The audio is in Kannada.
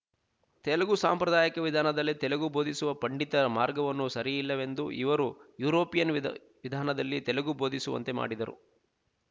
ತೆಲುಗು ಸಾಂಪ್ರದಾಯಿಕ ವಿಧಾನದಲ್ಲಿ ತೆಲುಗು ಬೋಧಿಸುವ ಪಂಡಿತ ಮಾರ್ಗವನ್ನು ಸರಿಯಿಲ್ಲವೆಂದು ಇವರು ಯುರೋಪಿಯನ್ ವಿದ ವಿಧಾನದಲ್ಲಿ ತೆಲುಗು ಬೋಧಿಸುವಂತೆ ಮಾಡಿದರು